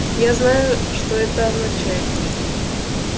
я знаю что это означает